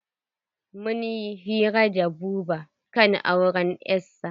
Mun yi hira da Buba kan auren 'yasa.